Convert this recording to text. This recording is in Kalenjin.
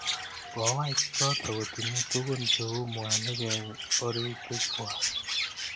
kowaik chotok kotinye tukun cheu mwanik eng oritik kwak